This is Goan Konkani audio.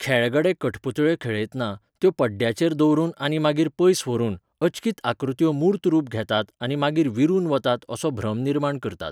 खेळगडे कठपुतळ्यो खेळयतना, त्यो पडद्याचेर दवरून आनी मागीर पयस व्हरून, अचकीत आकृत्यो मूर्त रूप घेतात आनी मागीर विरुन वतात असो भ्रम निर्माण करतात.